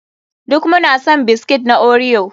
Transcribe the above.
Duka muna son biskit na Oreo.